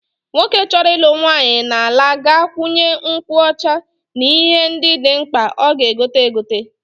Nwoke chọrọ ịlụ nwaanyị n'ala ga-agụnye nkwụ ọcha n'ihe ndị dị mkpa ọ ga-egote egote.